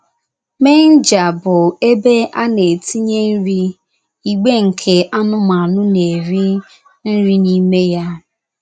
Meenjá bụ ébé ana-etinye nrí, igbe nke anụmanụ na-eri nri n'ime ya.